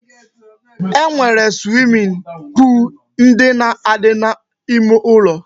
E nwere swimming pool ndị na-adị n'ime ụlọ